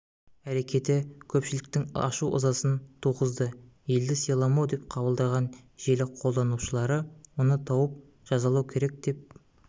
әрекеті көпшіліктің ашу-ызасын туғызды елді сыйламау деп қабылдаған желі қолданушылары оны тауып жазалау керек деп